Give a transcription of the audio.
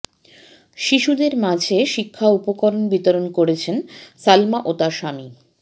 শিশুদের মাঝে শিক্ষা উপকরণ বিরতন করছেন সালমা ও তার স্বামী